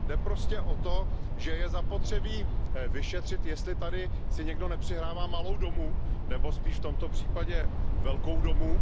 Jde prostě o to, že je zapotřebí vyšetřit, jestli si tady někdo nepřihrává malou domů nebo spíše v tomto případě velkou domů.